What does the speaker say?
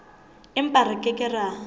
empa re ke ke ra